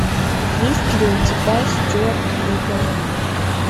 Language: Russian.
есть ли у тебя стюарт литтл